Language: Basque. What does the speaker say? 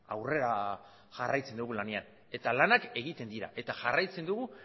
aurrera jarraitzen dugu lanean eta lanak egiten dira eta jarraitzen dugu